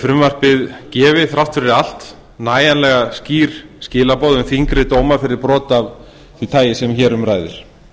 frumvarpið gefi þrátt fyrir allt nægjanlega skýr skilaboð um þyngri dóma fyrir brot af því tagi sem hér um ræðir